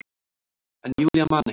En Júlía man ekki.